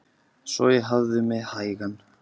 Svo ég hafði mig hægan.